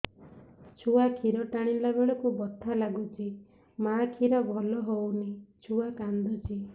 ଛୁଆ ଖିର ଟାଣିଲା ବେଳକୁ ବଥା ଲାଗୁଚି ମା ଖିର ଭଲ ହଉନି ଛୁଆ କାନ୍ଦୁଚି